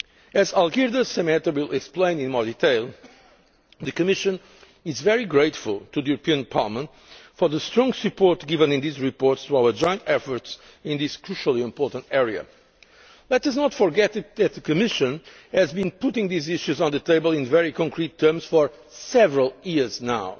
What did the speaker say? As Mr Šemeta will explain in more detail, the Commission is very grateful to Parliament for the strong support given in these reports to our joint efforts in this crucially important area. Let us not forget that the Commission has been putting these issues on the table in very concrete terms for several years